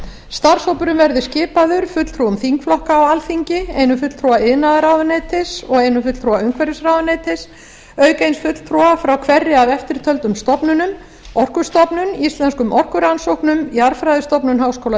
starfshópurinn verði skipaður fulltrúum þingflokka á alþingi einum fulltrúa iðnaðarráðuneytisins og einum fulltrúa umhverfisráðuneytisins auk eins fulltrúa frá hverri af eftirtöldum stofnunum orkustofnun íslenskum orkurannsóknum jarðfræðistofnun háskóla